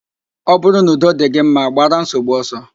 Ọ bụrụ n'udo dị gị mma, gbara nsogbu ọsọ